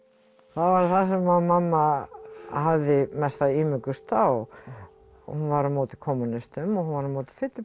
það var mamma hafði mesta ímugust á hún var á móti kommúnistum og hún var á móti fyllibyttum